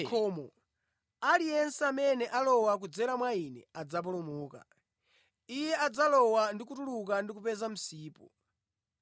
Ine ndine khomo, aliyense amene alowa kudzera mwa Ine adzapulumuka. Iye adzalowa ndi kutuluka ndi kupeza msipu.